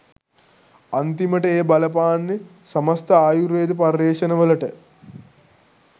අන්තිමට එය බලපාන්නේ සමස්ථ ආයුර්වේද පර්යේෂණ වලට.